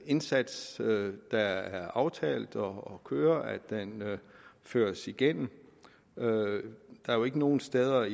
indsats der er aftalt og kører føres igennem der er jo ikke nogen steder